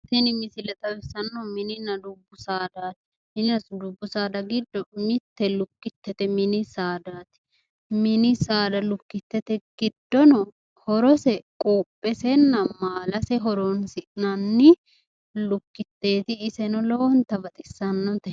Tini misile xawissannohu mininna dubbu saadaati. Mininna dubbu saada giddo mitte lukkittete. Mini saadaati. Mini saada lukkittete giddono horose quuphesenna maalase horoonsi'nanni lukkitteeti. Iseno lowonta baxissanno.